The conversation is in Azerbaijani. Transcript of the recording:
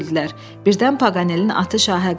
Birdən Paqanelin atı şahə qalxdı.